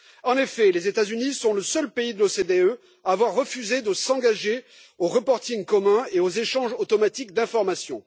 En effet, les États Unis sont le seul pays de l'OCDE à avoir refusé de s'engager au reporting commun et à l'échange automatique d'informations.